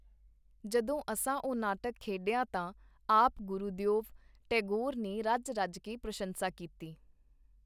ਜਦੋਂ ਅਸਾਂ ਉਹ ਨਾਟਕ ਖੇਡਿਆ ਤਾਂ ਆਪ ਗੁਰੂਦਿਓਵ ਟੈਗੋਰ ਨੇ ਰੱਜ-ਰੱਜ ਕੇ ਪ੍ਰਸੰਸਾ ਕੀਤੀ.